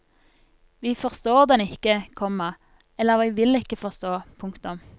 Vi forstår den ikke, komma eller vi vil ikke forstå. punktum